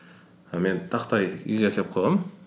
і мен тақтай үйге әкеліп қойғанмын